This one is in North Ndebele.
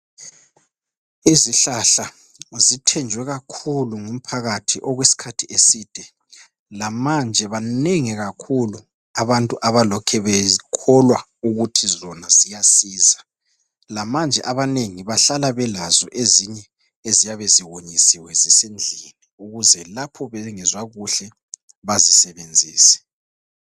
Izihlahla zithenjwe kakhulu ngumphakathi okwesikhathi eside,. lamanje banengi kakhulu abantu abalokhe bekholwa ukuthi zona ziyasiza. Lamanje abanengi bahlala belazo ezinye eziyabe ziwonyisiwe zisendlini ukuze lapho bengezwa kuhle bazisebenzise.